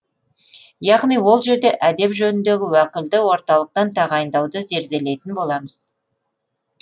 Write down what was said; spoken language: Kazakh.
яғни ол жерде әдеп жөніндегі уәкілді орталықтан тағайындауды зерделейтін боламыз